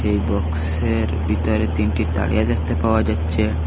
এই বক্সের ভিতরে তিনটি তারিয়া দেখতে পাওয়া যাচ্ছে।